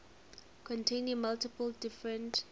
containing multiple different